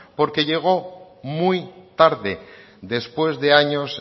porque llegó muy tarde después de años